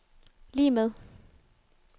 lig med